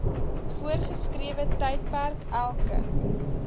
voorgeskrewe tydperk elke